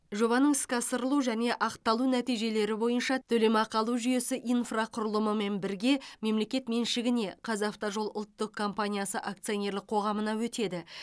жобаның іске асырылу және ақталу нәтижелері бойынша төлемақы алу жүйесі инфрақұрылымымен бірге мемлекет меншігіне қазавтожол ұлттық компаниясы акционерлік қоғамына өтеді